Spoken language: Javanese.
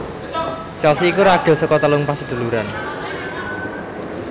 Chelsea iku ragil saka telung paseduluran